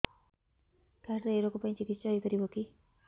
card ରେ ଏଇ ରୋଗ ପାଇଁ ଚିକିତ୍ସା ହେଇପାରିବ କି